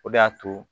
O de y'a to